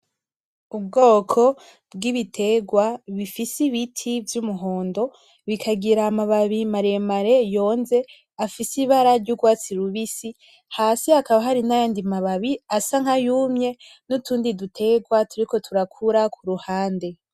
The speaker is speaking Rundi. Ubwoko bw'ibiterwa bifise ibiti vy'umuhondo bikagira amababi maremare yonze afise ibara ry'urwatsi rubisi. Hasi hakaba hari n'ayandi mababi asa nkayumye, n'utundi duterwa turiko turakura ku ruhande.